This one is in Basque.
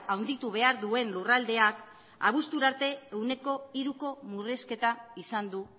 handitu behar duen lurraldeak abuztura arte ehuneko hiruko murrizketa izan du